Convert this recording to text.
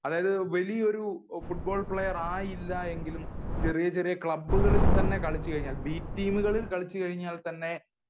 അതായത് വലിയ ഒരു ഫുട്ബോൾ പ്ലയെർ ആയില്ലെങ്കിലും ചെറിയ ചെറിയ ക്ലബ്ബ്കളിൽ തന്നെ കളിച്ചു കഴിഞ്ഞാൽ ബി ടീമുകളിൽ കളിച്ചാൽ തന്നെ